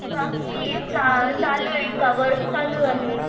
बाकी चालू आहे वर्क चालू आहे.